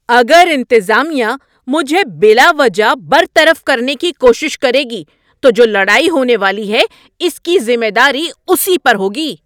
اگر انتظامیہ مجھے بلا وجہ برطرف کرنے کی کوشش کرے گی تو جو لڑائی ہونے والی ہے اس کی ذمہ داری اسی پر ہوگی۔